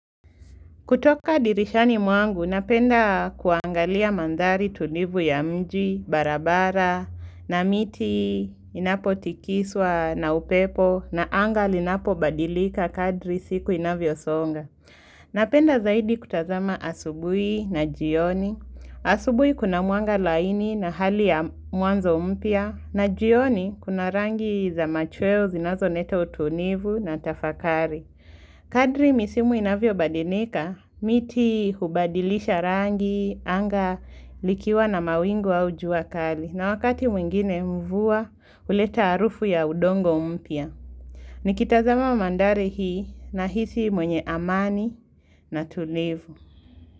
Kutoka dirishani mwangu, napenda kuangalia mandhari tulivu ya mji, barabara, na miti, inapotikiswa na upepo, na anga linapo badilika kadri siku inavyo songa. Napenda zaidi kutazama asubui na jioni. Asubui kuna mwanga laini na hali ya mwanzo mpya, na jioni kuna rangi za machweo zinazo leta utulivu na tafakari. Kadri misimu inavyo badilikaa, miti hubadilisha rangi, anga likiwa na mawingu au jua kali. Na wakati mwingine mvua, huleta harufu ya udongo mpya. Nikitazama wa mandari hii nahisi mwenye amani na tulivu.